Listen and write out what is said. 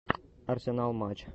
арсенал матч